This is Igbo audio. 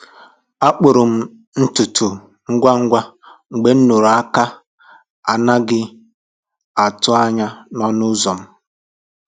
A kpụrụ m ntutu ngwa ngwa mgbe m nụrụ aka na-adịghị atụ anya n’ọnụ ụzọ ụlọ m